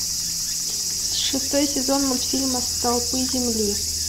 шестой сезон мультфильма столпы земли